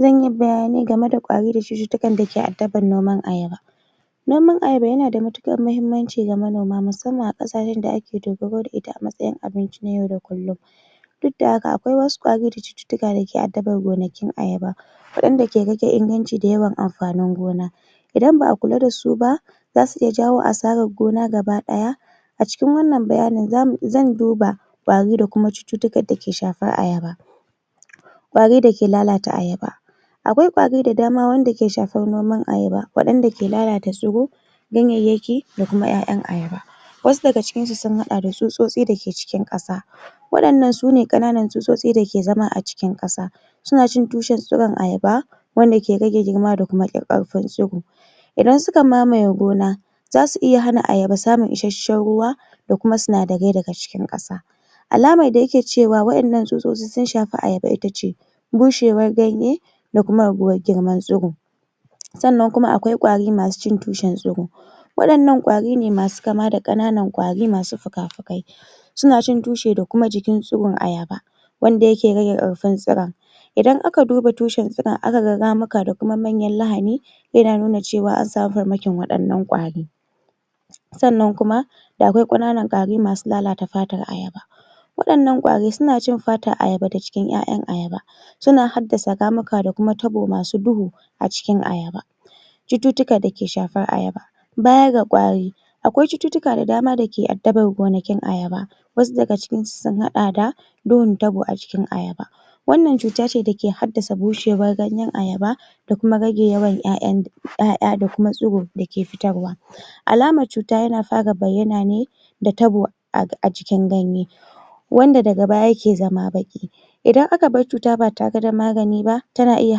zanyi bayani game da ƙwari da cututtukan dake addaban noman Ayaba noman Ayaba yana da matuƙan muhimman ci ga manoma musamman ƙasashen da ake dogaro da ita a matsayin abinci na yau da kullum duk da haka akwai wasu ƙwari da cututtuka dake addabar gonakin Ayaba waɗanda ke rage inganci da yawan amfanin gona idan ba'a kula dasu ba zasu iya jawo asarar gona gaba ɗaya a cikin wannan bayanin zan duba ƙwari da kuma cututtukan da suke shafar Ayaba ƙwari dake lalata Ayaba akwai ƙwari da dama wanda ke shafar noman ayaba waɗanda ke lalata tsiro ganyayyaki da kuma ƴaƴan ayaba wasu daga cikin su sun haɗa da tsutsotsi dake cikin ƙasa waɗan nan sune ƙananan tsotsutsi dake zama a cikin ƙasa suna cin tushe tsuron ayaba wanda ke rage girma da ƙarfin tsuro idan suka mamaye gona zasu iya hana ayaba samun ishashshan ruwa da kuma sinadarai daga cikin ƙasa alamar da yake cewa waƴannan tsutsotsi sun shafi ayaba itace bushewar ganye da kuma raguwar girman tsuro sannan kuma akwai ƙwari masu cin tushen tsuro waɗannan ƙwari ne masu kama da ƙananan ƙwari masu fukafukai suna cin tushe da kuma jikin tsuron ayaba wanda yake rage ƙarfin tsuron idan aka duba toshe tsuron aka ga ramuka da kuma manyan lahani yana nuna cewa an samu farmakin waɗannan ƙwari sannan kuma da da aƙwai ƙananan ƙwari masu lalata fatar ayaba waɗannan ƙwari suna cin fatar ayaba da cikin ƴaƴan ayaba suna haddasa ramuka da kuma tabo masu duhu a cikin ayaba cututtuka dake shafar ayaba baya ga ƙwari akwai cututtuka da dama dake addabar gonakin ayaba wasu daga cikin su sun haɗa da duhun tabo a jikin ayaba wannan cuta ce dake haddasa bushewar ganyen ayaba da kuma rage yawan ƴaƴan ta ƴaƴa da kuma tsuro dake fitarwa alamar cuta yana fara bayyana ne da tabo a cikin ganye wanda daga baya yake zama baƙi idan aka bar cuta ba tare da magani ba tana iya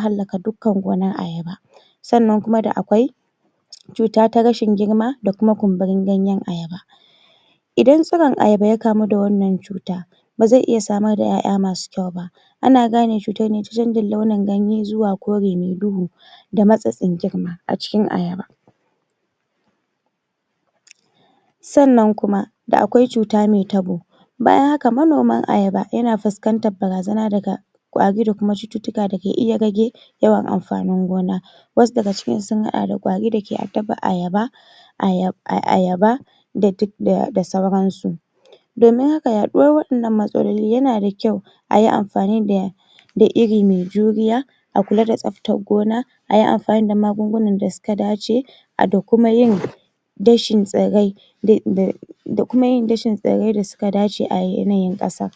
hallaka dukka gonar ayaba sannan kuma da akwai cuta ta rashin girma da kuma kumburin ganyen ayaba idan tsuron ayaba ya kamu da wannan cuta baze iya samar da ƴaƴa masu kyau ba ana gane cutar ne ta canjin launin ganye zuwa kore me duhu da matsatsin girma a gikin ayaba sannan kuma da akwai cuta me tabo bayan haka manoman ayaba yana fuskantar barazana daga ƙwari da kuma cututtuka dake iya rage yawan amfanin gona wasu daga cikin su sun haɗa da ƙwari dake addabar ayaba ayaba da sauran su domin haka yaɗuwar waɗannan matsaloli yana da kyau ayi amfani da iri me juriya a kula da tsaftar gona ayi amfani da magungunan da suka dace da kuma yin dashi tsirrai da kuma yi dashin tsirrai da suka dace a yanayin ƙasa